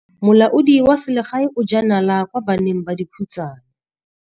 Molaodi wa selegae o jaa nala kwa baneng ba dikhutsana.